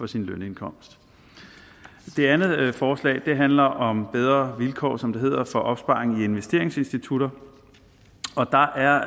sin lønindkomst det andet forslag handler om bedre vilkår som det hedder for opsparing i investeringsinstitutter og der er